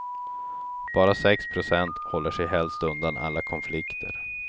Bara sex procent håller sig helst undan alla konflikter.